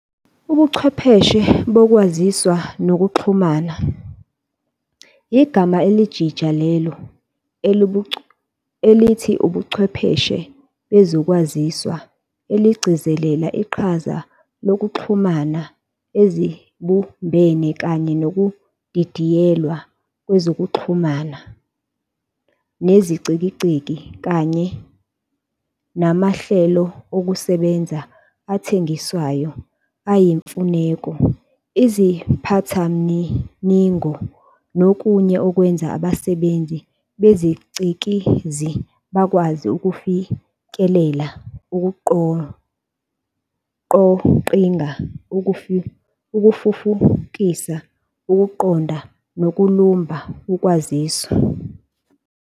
UbuChwepheshe boKwaziswa nokuXhumana igama elijija lelo elithi ubuChwepheshe bezoKwaziswa eligcizelela iqhaza lezokuxhumana ezibumbene kanye nokudidiyelwa kwezokuXhumanakude "nezicikizi, kanye namahlelokusebenza athengiswayo ayimfuneko, iziphathamniningo nokunye okwenza abasebenzisi bezicikizi bakwazi ukufikelela, ukuqoqlnga, ukufufukisa, ukuqonda nokulumba ukwaziswa.